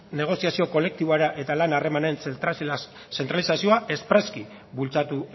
negoziazio kolektibora eta lan harremanen zentralizazioa espresuki bultzatu